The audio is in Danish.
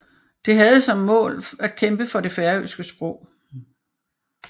Det havde som mål at kæmpe for det færøske sprog